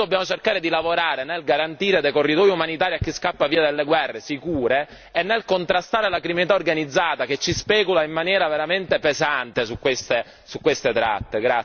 Noi dobbiamo cercare di lavorare nel garantire dei corridoi umanitari a chi scappa via dalle guerre sicure e nel contrastare la criminalità organizzata che specula in maniera veramente pesante su queste tratte.